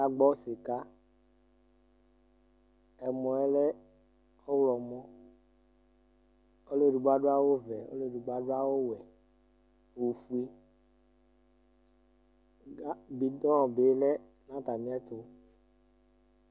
Agbɔ sika, ɛmɔ ɛlɛ ɔwlɔmɔ Ɔlu edigbo adu awu vɛ, ɔlu edigbo adu awu wɛ n'ofue ka bidɔɔ bi lɛ n'atamiɛ tu